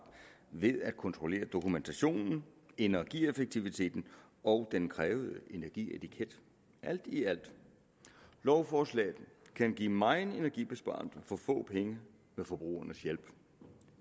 ved at kontrollere dokumentationen energieffektiviteten og den krævede energietiket alt i alt kan lovforslaget give meget energibesparelse for få penge med forbrugernes hjælp